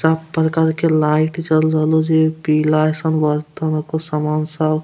सब प्रकार के लाइट जल रहलहो जे पीला एसन बर्तन हको समान सब --